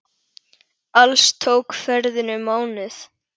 Alls tók ferðin um mánuð.